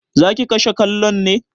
Zaki kashe kallon ne?